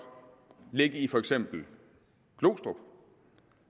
ligge i for eksempel glostrup